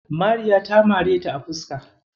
Mariya ta mareta a fuska.